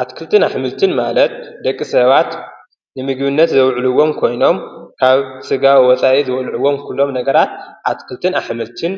ኣትክልትን ኣሕምልትን ማለት ደቂ ሰባት ንምግብነት ዘውዕልዎም ኮይኖም ካብ ሥጋ ወፃኢ ዘውዕሉዎም ኩሎም ነገራት ኣትክልትን ኣሐምልትን